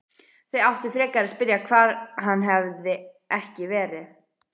Þau áttu frekar að spyrja hvar hann hefði ekki verið.